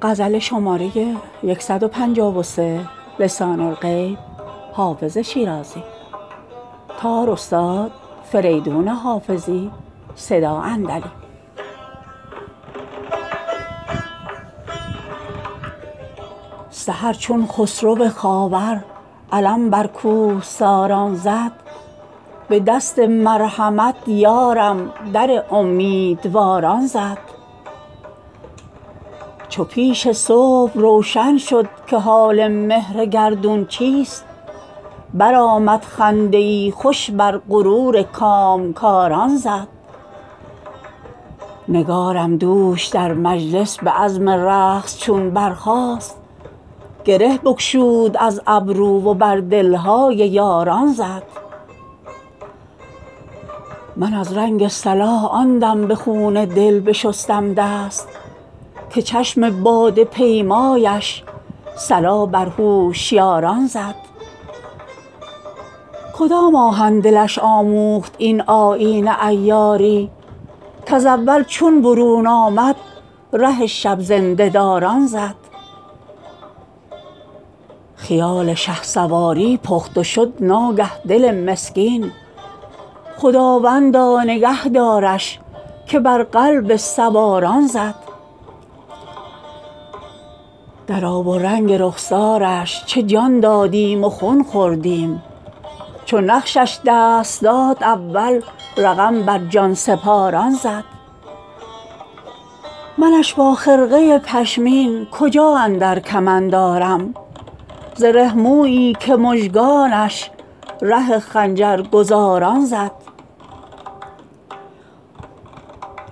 سحر چون خسرو خاور علم بر کوهساران زد به دست مرحمت یارم در امیدواران زد چو پیش صبح روشن شد که حال مهر گردون چیست برآمد خنده ای خوش بر غرور کامگاران زد نگارم دوش در مجلس به عزم رقص چون برخاست گره بگشود از گیسو و بر دل های یاران زد من از رنگ صلاح آن دم به خون دل بشستم دست که چشم باده پیمایش صلا بر هوشیاران زد کدام آهن دلش آموخت این آیین عیاری کز اول چون برون آمد ره شب زنده داران زد خیال شهسواری پخت و شد ناگه دل مسکین خداوندا نگه دارش که بر قلب سواران زد در آب و رنگ رخسارش چه جان دادیم و خون خوردیم چو نقشش دست داد اول رقم بر جان سپاران زد منش با خرقه پشمین کجا اندر کمند آرم زره مویی که مژگانش ره خنجرگزاران زد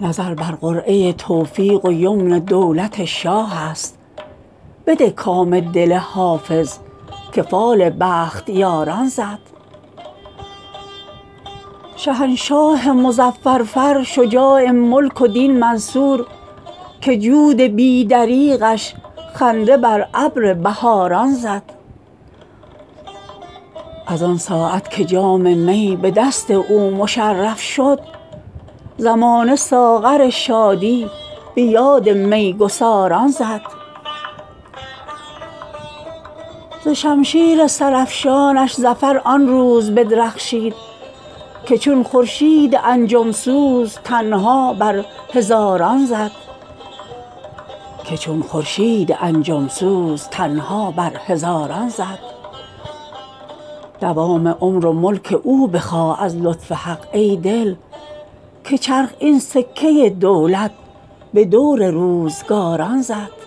نظر بر قرعه توفیق و یمن دولت شاه است بده کام دل حافظ که فال بختیاران زد شهنشاه مظفر فر شجاع ملک و دین منصور که جود بی دریغش خنده بر ابر بهاران زد از آن ساعت که جام می به دست او مشرف شد زمانه ساغر شادی به یاد می گساران زد ز شمشیر سرافشانش ظفر آن روز بدرخشید که چون خورشید انجم سوز تنها بر هزاران زد دوام عمر و ملک او بخواه از لطف حق ای دل که چرخ این سکه دولت به دور روزگاران زد